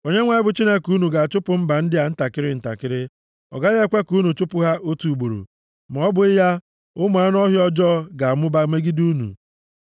Onyenwe anyị bụ Chineke unu, ga-achụpụ mba ndị a ntakịrị ntakịrị. Ọ gaghị ekwe ka unu chụpụ ha otu ugboro, ma ọ bụghị ya, ụmụ anụ ọhịa ọjọọ ga-amụba megide unu.